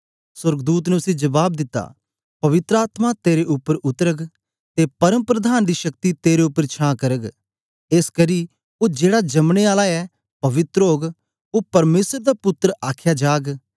सोर्गदूत ने उसी जबाब दित्ता पवित्र आत्मा तेरे उपर उतरग ते परमप्रधान दी शक्ति तेरे उपर छां करग एसकरी ओ जेड़ा जमने आला ऐ पवित्र ओग ओ परमेसर दा पुत्तर आख्या जाग